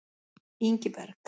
Ingiberg